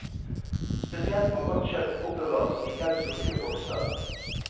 Spesielt må rått kjøtt oppbevares i helt lukkede bokser.